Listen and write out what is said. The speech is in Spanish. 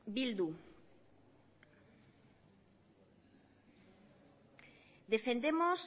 bildu defendemos